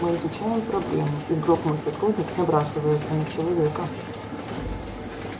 мы изучаем проблему и вдруг мой сотрудник набрасывается на человека